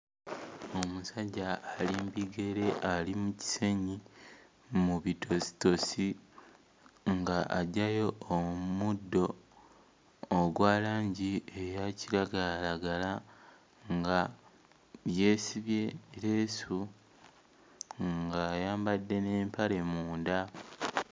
Omusajja ali mbigere ali mu kisenyi mu bitositosi nga aggyayo omuddo ogwa langi eya kiragalalagala, nga yeesibye leesu ng'ayambadde n'empale munda.